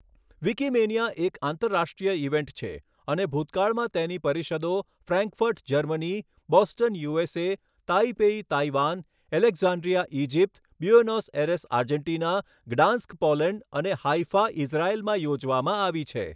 Wikimania એક આંતરરાષ્ટ્રીય event છે અને ભૂતકાળમાં તેની પરિષદો Frankfurt, Germany, Boston, USA, Taipei, Taiwan, Alexandria, Egypt, Buenos Aires, Argentina, Gdansk, Poland, અને હાઈફા, ઈઝરાયેલમાં યોજવામાં આવી છે.